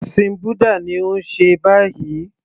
Ẹ̀sìn búdà ni ó ń ṣe báyìí